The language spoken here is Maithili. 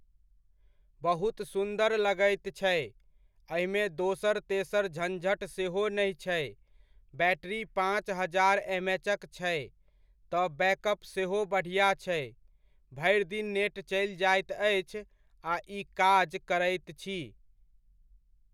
बहुत सुन्दर लगैत छै, एहिमे दोसर तेसर झञ्झट सेहो नहि छै, बैट्रि पाँच हजार एम एचक छै, तऽ बैकअप सेहो बढ़िआँ छै। भरि दिन नेट चलि जाइत अछि आ ई काज करैत छी।